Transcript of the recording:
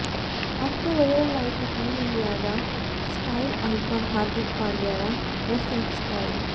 ಮತ್ತೆ ವೈರಲ್ ಆಯ್ತು ಟೀಂ ಇಂಡಿಯಾದ ಸ್ಟೈಲ್ ಐಕಾನ್ ಹಾರ್ದಿಕ್ ಪಾಂಡ್ಯರ ಡ್ರೆಸ್ಸಿಂಗ್ ಸ್ಟೈಲ್